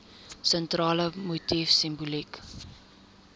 sentrale motief simboliek